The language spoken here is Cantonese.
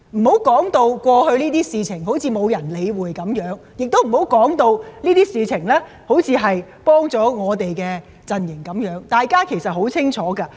不要將過去的事情說成沒人理會一樣，亦不要說成我們的陣營因而有所得益一樣，大家對此是很清楚的。